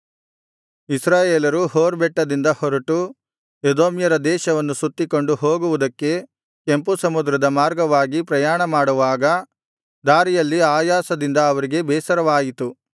ಇಸ್ರಾಯೇಲರು ಹೋರ್ ಬೆಟ್ಟದಿಂದ ಹೊರಟು ಎದೋಮ್ಯರ ದೇಶವನ್ನು ಸುತ್ತಿಕೊಂಡು ಹೋಗುವುದಕ್ಕೆ ಕೆಂಪು ಸಮುದ್ರದ ಮಾರ್ಗವಾಗಿ ಪ್ರಯಾಣಮಾಡುವಾಗ ದಾರಿಯಲ್ಲಿ ಆಯಾಸದಿಂದ ಅವರಿಗೆ ಬೇಸರವಾಯಿತು